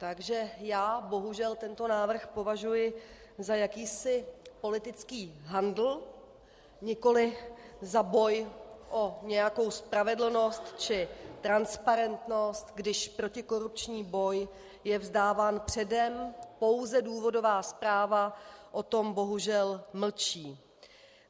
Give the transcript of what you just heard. Takže já bohužel tento návrh považuji za jakýsi politický handl, nikoliv za boj o nějakou spravedlnost či transparentnost, když protikorupční boj je vzdáván předem, pouze důvodová zpráva o tom bohužel mlčí.